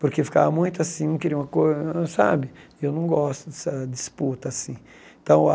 porque ficava muito assim, um queria uma coisa hum sabe... Eu não gosto dessa disputa assim. Então